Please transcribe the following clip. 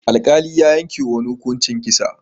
Alƙali ya yankewa wani mutum hukuncin kisa.